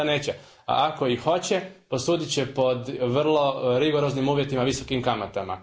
Naravno da neće, a ako i hoće, posudit će po vrlo rigoroznim uvjetima i visokim kamatama.